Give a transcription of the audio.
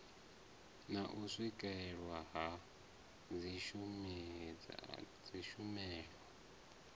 na u swikelelwa ha dzitshumelo